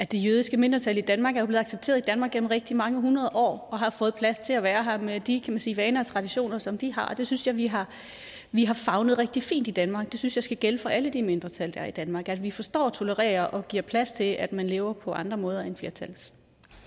det jødiske mindretal i danmark er blevet accepteret i danmark gennem rigtig mange hundrede år og har fået plads til at være her med de kan man sige vaner og traditioner som de har og det synes jeg vi har vi har favnet rigtig fint i danmark det synes jeg skal gælde for alle de mindretal der er i danmark at vi forstår og tolererer og giver plads til at man lever på andre måder end flertallets